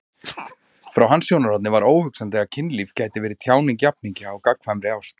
Frá hans sjónarhorni var óhugsandi að kynlíf gæti verið tjáning jafningja á gagnkvæmri ást.